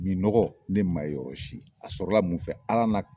Min nɔgɔ ne man ye yɔrɔ si a sɔrɔla mun fɛ Ala n'a ka